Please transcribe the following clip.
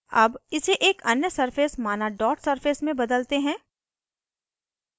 अब इसे एक अन्य surface माना dot surface में बदलते हैं